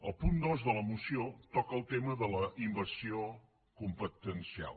el punt dos de la moció toca el tema de la invasió competencial